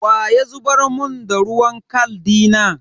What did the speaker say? Wa ya zubar mun da ruwan kal dina?